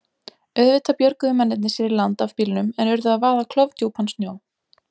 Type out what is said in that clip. Auðvitað björguðu mennirnir sér í land af bílnum en urðu að vaða klofdjúpan sjó.